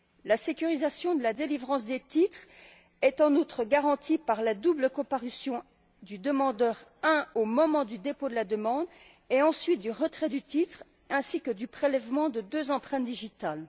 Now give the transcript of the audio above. La sécurisation de la délivrance des titres est en outre garantie par la double comparution du demandeur, en premier lieu au moment du dépôt de la demande, puis au moment du retrait du titre ainsi que du prélèvement de deux empreintes digitales.